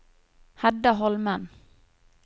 Hedda Holmen